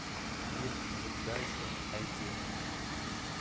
фильм жить дальше найди